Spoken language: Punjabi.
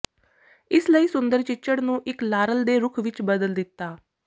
ਇਸ ਲਈ ਸੁੰਦਰ ਚਿੱਚੜ ਨੂੰ ਇੱਕ ਲਾਰਲ ਦੇ ਰੁੱਖ ਵਿੱਚ ਬਦਲ ਦਿੱਤਾ